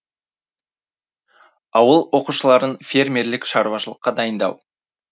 ауыл оқушыларын фермерлік шаруашылыққа дайындау